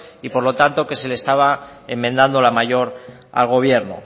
y por lo tanto que se le estaba enmendando la mayor al gobierno